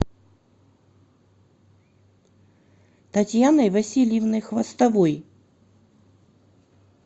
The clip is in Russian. татьяной васильевной хвостовой